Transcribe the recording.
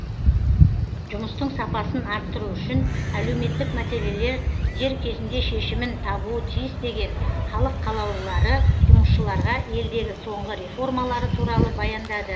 жұмыстың сапасын арттыру үшін әлеуметтік мәселелер дер кезінде шешімін табуы тиіс деген халық қалалулылары жұмысшыларға елдегі соңғы реформалары туралы баяндады